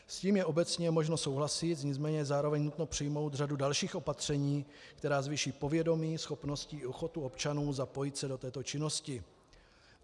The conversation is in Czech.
S tím je obecně možno souhlasit, nicméně zároveň je nutno přijmout řadu dalších opatření, která zvýší povědomí, schopnosti i ochotu občanů zapojit se do této činnosti.